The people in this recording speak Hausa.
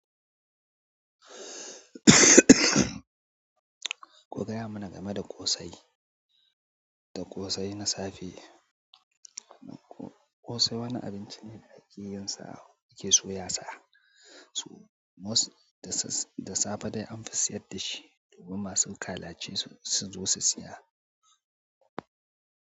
Ku gaya mana game da ƙosai, da ƙosai na safe. Ƙosai wani abinci ne da ake yin sa ake soya sa. Da safe dai an fi sayar da shi domin masu kalaci su zo su saya.